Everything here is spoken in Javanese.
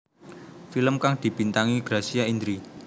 Film kang dibintangi Gracia Indri